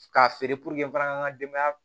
K'a feere ka n ka denbaya